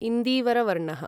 इन्दीवर वर्णः